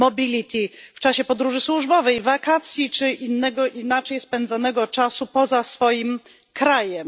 mobility w czasie podróży służbowej, wakacji czy inaczej spędzonego czasu poza swoim krajem.